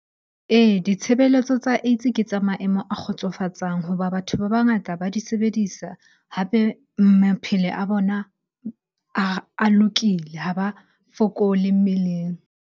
Ee, ditshebeletso tsa AIDS ke tsa maemo a kgotsofatsang hoba batho ba bangata ba di sebedisa. Hape a bona a lokile, ha ba fokole mmeleng.